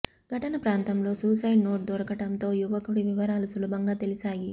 ఘటన ప్రాంతంలో suicide note దొరకడంతో యువకుడి వివరాలు సులభంగా తెలిశాయి